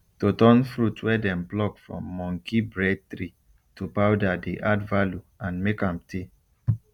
to turn fruit wey dem pluck from monkey bread tree to powder dey add value and make am tey